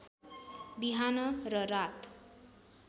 बिहान र रात